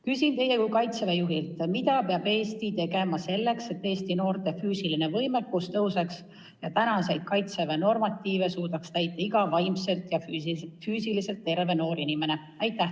Küsin teilt kui Kaitseväe juhilt: mida peab Eesti tegema selleks, et Eesti noorte füüsiline võimekus kasvaks ja Kaitseväe normatiive suudaks täita iga vaimselt ja füüsiliselt terve noor inimene?